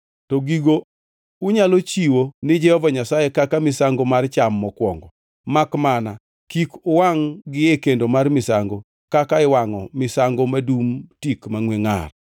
To gigo unyalo chiwo ni Jehova Nyasaye kaka misango mar cham mokwongo, makmana kik uwangʼ-gi e kendo mar misango kaka iwangʼo misango madum tik mangʼwe ngʼar.